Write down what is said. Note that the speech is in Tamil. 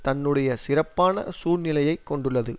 தன்னுடைய சிறப்பான சூழ்நிலையைக் கொண்டுள்ளது